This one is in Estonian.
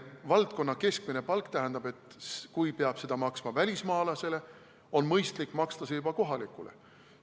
Valdkonna keskmine palk tähendab, et kui peab seda maksma välismaalasele, siis on mõistlik maksta seda ka kohalikule.